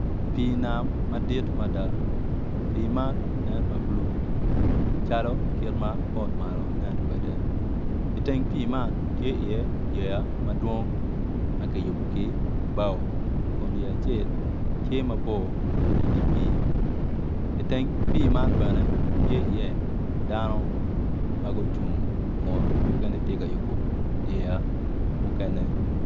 Pii nam madit mada pii man nen ma bulu calo kit ma pol Malo nen kwede iteng pii man tye iye yeya madwong ma kiyubu ki bao Kun yeya acel tye mabor wai idye pii iteng pii man tye iye dano ma gucung Kun mukene tye ka yubo yeya mukene